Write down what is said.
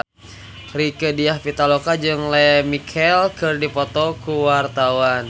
Rieke Diah Pitaloka jeung Lea Michele keur dipoto ku wartawan